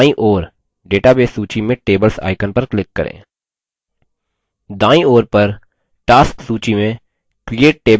नया table बनाने के लिए बायीं ओर database सूची में tables icon पर click करें